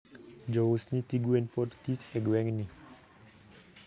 jous nyithi gwen pod this e gwengni